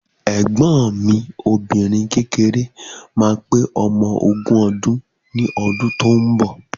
Ẹ̀gbọ́n mi obìnrin kékeré ma pé ọmọ ogún odún ní ọdún tó ń bọ̀.